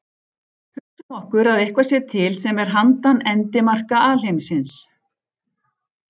Hugsum okkur að eitthvað sé til sem er handan endimarka alheimsins.